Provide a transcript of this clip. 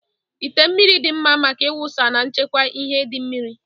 Ite mmiri dị mma maka ịwụsa na ịchekwa ihe di mmiri.